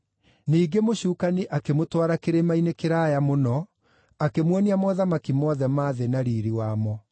Ningĩ mũcukani akĩmũtwara kĩrĩma-inĩ kĩraaya mũno, akĩmuonia mothamaki mothe ma thĩ na riiri wamo.